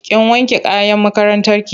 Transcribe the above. Kin wanke kayan makarantarki?